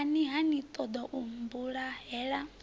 kani ha ni ṱoḓou mmbulahela